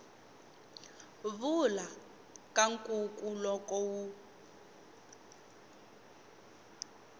vula ka nkuku loko wu